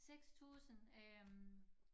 6000 øh